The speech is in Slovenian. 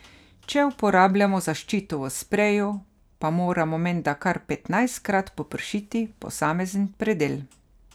Če uporabljamo zaščito v spreju, pa moramo menda kar petnajstkrat popršiti posamezen predel.